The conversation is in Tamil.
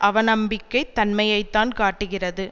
அவநம்பிக்கைத் தன்மையை தான் காட்டுகிறது